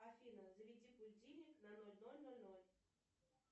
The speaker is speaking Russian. афина заведи будильник на ноль ноль ноль ноль